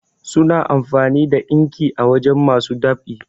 suna amfani da inki a wajen masu ɗab'i